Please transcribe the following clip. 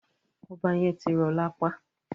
Ọba yẹn ti rọ lapa.